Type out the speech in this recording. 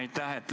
Aitäh!